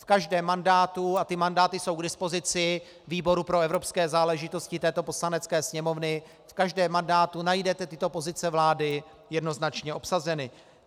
V každém mandátu, a ty mandáty jsou k dispozici výboru pro evropské záležitosti této Poslanecké sněmovny, v každém mandátu najdete tyto pozice vlády jednoznačně obsaženy.